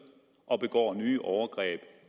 og begår nye overgreb